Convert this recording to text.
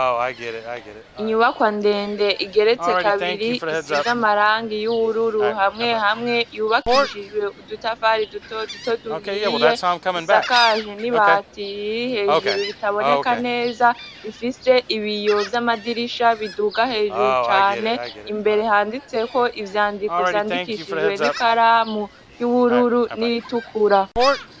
Inyubakwa ndende igeretse kabiri isiz'amarangi y'ubururu hamwe hamwe yubakishijwe udutafari dutoduto duhiye isakajwe n'ibati riri hejuru ritaboneka neza. Ifise ibiyo vy'amadirisha biduga hejuru cane, imbere handitseko ivyandiko vyandikishijwe n'ikaramu y'ubururu n'iritukura.